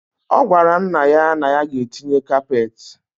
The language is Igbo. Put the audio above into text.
Ogwara nna ya na ya ga etinye kapet.